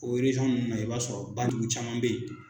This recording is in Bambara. O ninnu na i b'a sɔrɔ badugu caman bɛ ye.